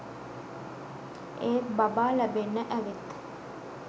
ඒත් බබා ලැබෙන්න ඇවිත්